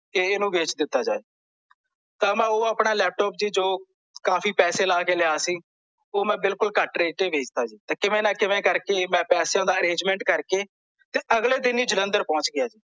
ਕੇ ਇਹਨੂੰ ਵੇਚ ਦਿੱਤਾ ਜਾਵੇ ਤਾਂ ਮੈਂ ਓਹ ਆਪਣਾ ਲੈਪਟਾਪ ਸੀ ਜੋ ਕਾਫੀ ਪੈਸੇ ਲੈ ਕੇ ਲਿਆ ਸੀ ਓਹ ਮੈਂ ਬਿਲਕੁਲ ਘੱਟ ਰੇਟ ਤੇ ਵੇਚ ਤਾ ਜੀ ਕਿਵੇ ਨਾਂ ਕਿਵੇ ਕਰਕੇ ਮੈਂ ਪੈਸਿਆਂ ਦਾ arrangement ਕਰਕੇ ਅਗਲੇ ਦਿਨ ਹੀ ਜਲੰਧਰ ਪਹੁੰਚ ਗਿਆ ਜੀ